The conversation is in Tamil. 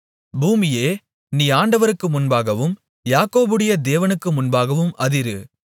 பூமியே நீ ஆண்டவருக்கு முன்பாகவும் யாக்கோபுடைய தேவனுக்கு முன்பாகவும் அதிரு